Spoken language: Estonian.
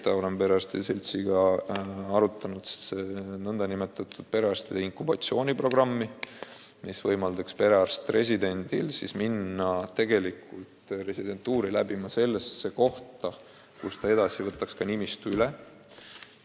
Me oleme perearstide seltsiga arutanud nn perearstide inkubatsiooniprogrammi, mis võimaldaks perearstiks õppival residendil teha residentuur läbi selles kohas, kus ta edaspidi nimistu üle võtaks.